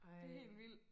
Det helt vildt